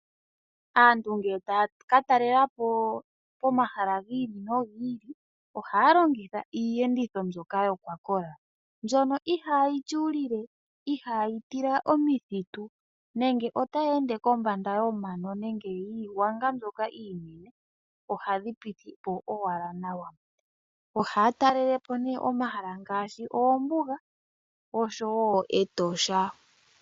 Aantu ngele taya ka talelapo omahala gi ili no gi ili ohaya longitha iiyenditho mbyoka ya kola. Iiyenditho mbyono ihaayi tyuulile ihaayi tila omithitu nenge otayi ende kombanda yomano nenge yiigwanga mbyoka iinene. Ohayi piti po owala nawa. Ohaya talelepo nee omahala ngaashi oombuga osho woo Etosha.